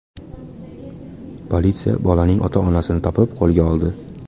Politsiya bolaning ota-onasini topib, qo‘lga oldi.